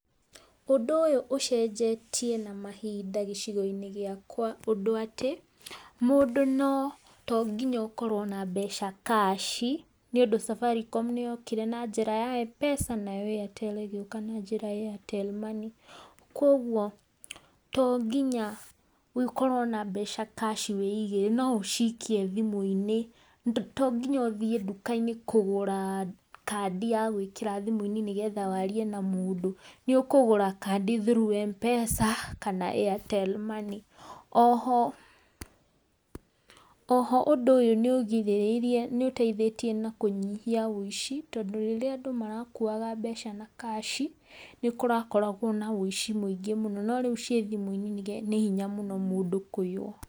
Ũndũ ũyũ ũcenjetie na mahinda gĩcigo-inĩ gĩakwa ũndũ atĩ, mũndũ no tongĩnya ũkorwo na mbeca cash, nĩũndũ Safaricom nĩ yokire na njĩra ya Mpesa, nayo Airtel ĩ gĩũka na njĩra ya Airtel Money, kuogwo tonginya ũkorwo na mbeca cash wĩigĩire, no ũcikie thimũ-inĩ, to nginya ũthiĩ nduka-inĩ kũgũra kandi ya gwĩkĩra thimũ-inĩ nĩgetha warie na mũndũ, nĩ ũkũgũra kandi through Mpesa kana Airtel Money. Oho, oho ũndũ ũyũ nĩ ũgirĩrĩirie nĩ ũteithĩtie na kũnyihia ũici, tondũ rĩrĩa andũ marakuaga mbeca na cash, nĩ kũrakoragwo na ũici mũingĩ mũno, no rĩu ciĩ thimũ-inĩ nĩ hinya mũno mũndũ kũiywo.